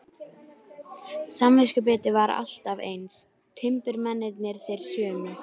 Samviskubitið var alltaf eins, timburmennirnir þeir sömu.